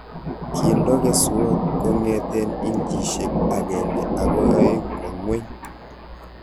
Kiindo keswoot kongeten inchisiek 1 akoi 2 kwo ng'weny